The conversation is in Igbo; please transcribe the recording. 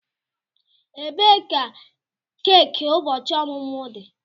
Ebee ka keki ụbọchị ọmụmụ dị?